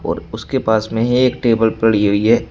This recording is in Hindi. और उसके पास में ही एक टेबल पड़ी हुई है।